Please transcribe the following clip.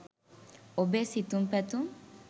ඔබේ සිතුම් පැතුම්